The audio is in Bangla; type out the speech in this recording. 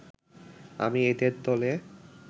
আমি এদের দলে